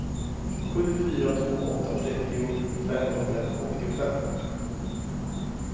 sju fyra två åtta trettio femhundraåttiofem